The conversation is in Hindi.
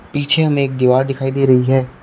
पीछे हमें एक दीवार दिखाई दे रही है।